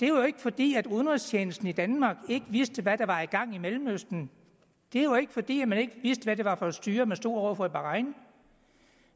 jo ikke fordi udenrigstjenesten i danmark ikke vidste hvad der var i gang i mellemøsten det var ikke fordi man ikke vidste hvad det var for et styre man stod over for i bahrain